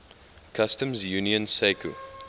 customs union sacu